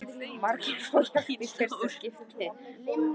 Margir fá hjálp í fyrsta skipti